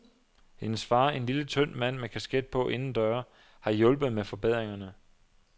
Hendes far, en lille, tynd mand med kasket på indendøre, har hjulpet med forbedringerne.